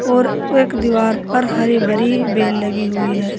और एक दीवार पर हरी भरी बेल लगी हुई है।